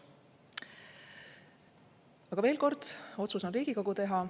Aga veel kord: otsus on Riigikogu teha.